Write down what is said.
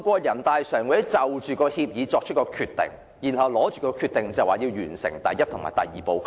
人大常委會就《合作安排》作出決定後，便完成"一地兩檢"安排的第一步及第二步程序。